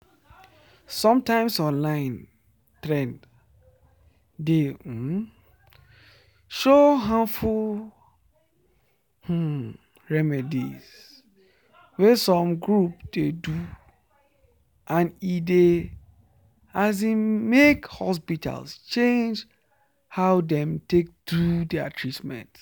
sometimes online trends dey um show harmful um remedies wey some groups dey do and e dey make hospitals change how dem take do their treatment.”